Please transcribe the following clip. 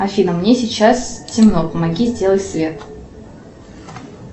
афина мне сейчас темно помоги сделать свет